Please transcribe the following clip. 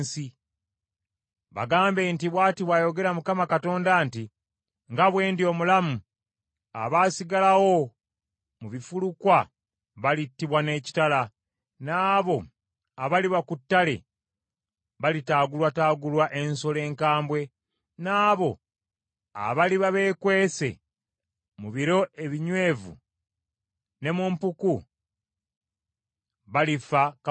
“Bagambe nti, ‘Bw’ati bw’ayogera Mukama Katonda nti: Nga bwe ndi omulamu, abaasigalawo mu bifulukwa balittibwa n’ekitala, n’abo abaliba ku ttale balitaagulwataagulwa ensolo enkambwe, n’abo abaliba beekwese mu biro ebinywevu ne mu mpuku balifa kawumpuli.